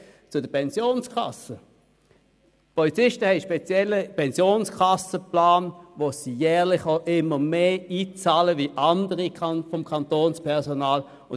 Polizisten haben einen speziellen Pensionskassenplan, wobei sie jeweils jährlich mehr einzahlen als andere seitens des Kantonspersonals.